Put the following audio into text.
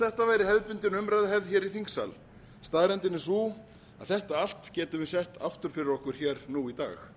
þetta væri hefðbundin umræðuhefð hér í þingsal staðreyndin er sú að þetta allt getum við sett aftur fyrir okkur hér nú í dag